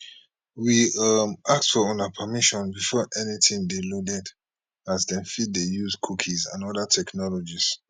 we um ask for una permission before anytin dey loaded as dem fit dey use cookies and oda technologies